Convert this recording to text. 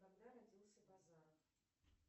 когда родился базаров